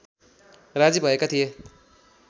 राजी भएका थिए